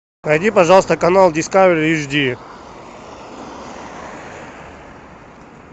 найди пожалуйста канал дискавери эйчди